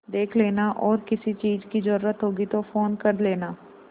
देख लेना और किसी चीज की जरूरत होगी तो फ़ोन कर लेना